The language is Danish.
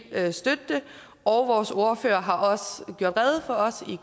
kan støtte det og vores ordfører har også for os i